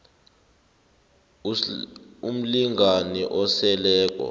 s umlingani oseleko